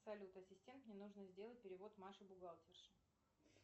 салют ассистент мне нужно сделать перевод маше бухгалтерше